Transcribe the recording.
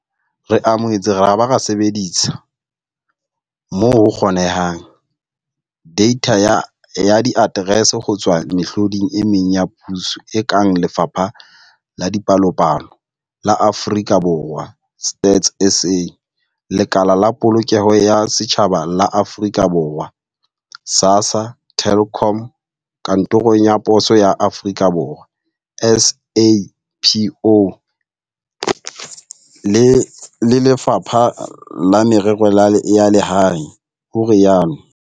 Re amohetse ra ba ra sebedisa, moo ho kgonehang, deitha ya diaterese ho tswa mehloding e meng ya puso e kang Lefapha la Dipalopalo la Aforika Borwa, Stats SA, Lekala la Polokeho ya Setjhaba la Aforika Borwa, SASSA, Telkom, Kantoro ya Poso ya Aforika Borwa, SAPO, le Lefapha la Merero ya Lehae, o ile a rialo.